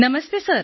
Namaste sir